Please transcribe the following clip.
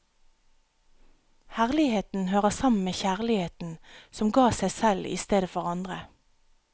Herligheten hører sammen med kjærligheten, som gav seg selv i stedet for andre.